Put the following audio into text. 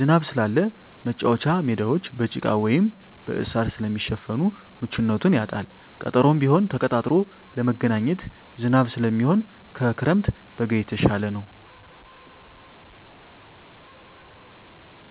ዝናብ ስላለ መቻወቻ ሜዳወች በጭቃ ወይም በእሳር ስለሚሸፈን ምቹነቱን ያጣል ቀጠሮም ቢሆን ተቀጣጥሮ ለመገናኘት ዝናብ ስለሚሆን ከክረምት በጋ የተሻለ ነዉ።